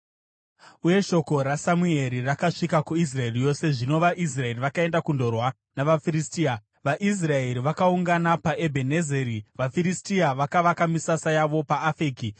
Uye shoko raSamueri rakasvika kuIsraeri yose. VaFiristia vanopamba Areka Zvino vaIsraeri vakaenda kundorwa navaFiristia. VaIsraeri vakaungana paEbhenezeri, vaFiristia vakavaka misasa yavo paAfeki.